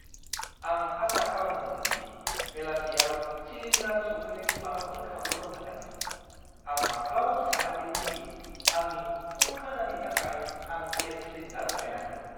आं आसा खालामदोंमोन दि बेलासियाव सिलिन्डार सौफैनायनि माबाफोर खाबु दं होन्नानै। आं माब्लाबाबो सानाखैमोन दि आंनि फुं-खाजानि थाखाय आं गेस सिलिन्डार लायनांगोन!